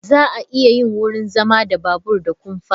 Za a iya yin wurin zama da babur da kumfa.